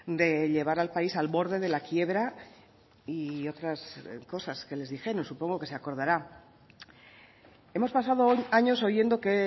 de llevar al país al borde de la quiebra y otras cosas que les dijeron supongo que se acordará hemos pasado años oyendo que